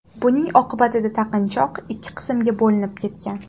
Buning oqibatida taqinchoq ikki qismga bo‘linib ketgan.